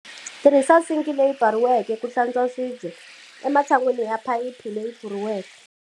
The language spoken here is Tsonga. Tirhisa sinki leyi pfariweke ku hlantswa swibye, ematshan'weni ya phayiphi leyi pfuleriweke.